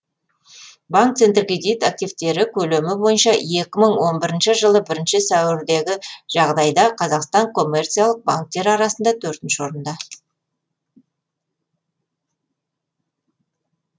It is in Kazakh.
банк центркредит активтері көлемі боынша екі мың он бірінші жылдың бірінші сәуіріндегі жағдайда қазақстан коммерциялық банктері арасында төртінші орында